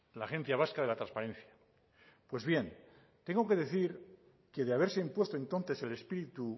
la agencia vasca de la transparencia pues bien tengo que decir que de haberse impuesto entonces el espíritu